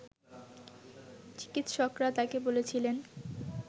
চিকিৎসকরা তাকে বলেছিলেন